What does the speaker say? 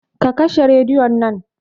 Ka kashe rediyon nan